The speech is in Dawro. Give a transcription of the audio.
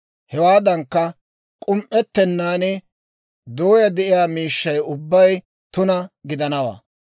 Hewaadankka, k'um"ettennaan dooyaa de'iyaa miishshaa ubbay tuna gidanawaa.